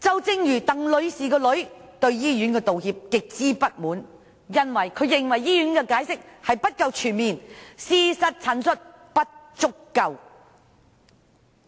正如鄧女士的女兒對醫院所作出的道歉感到極之不滿，因她認為醫院的解釋不夠全面，事實陳述也不足夠。